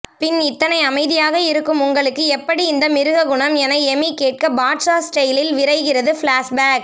பின் இத்தனை அமைதியாக இருக்கும் உங்களுக்கு எப்படி இந்த மிருககுணம் என எமி கேட்க பாட்ஷா ஸ்டைலில் விரிகிறது ப்ளாஷ்பேக்